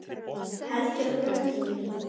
Heldur um hendur mínar.